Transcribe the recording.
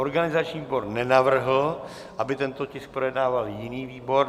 Organizační výbor nenavrhl, aby tento tisk projednával jiný výbor.